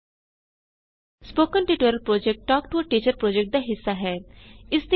spoken tutorial project talk to a teacher project ਦਾ ਹਿੱਸਾ ਹੈ